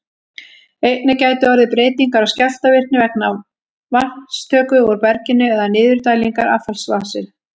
Einnig gætu orðið breytingar á skjálftavirkni vegna vatnstöku úr berginu eða niðurdælingar affallsvatns.